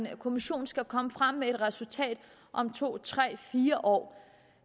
at en kommission skal komme frem til et resultat om to tre fire år